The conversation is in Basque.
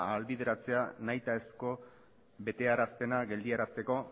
ahalbideratzea nahitaezko bestearazpena geldiarazteko